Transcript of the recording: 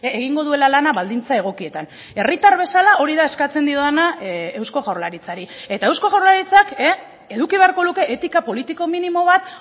egingo duela lana baldintza egokietan herritar bezala hori da eskatzen diodana eusko jaurlaritzari eta eusko jaurlaritzak eduki beharko luke etika politiko minimo bat